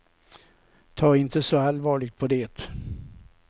Ta inte så allvarligt på det.